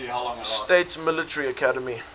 states military academy